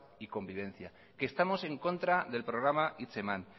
y convivencia que estamos en contra del programa hitzeman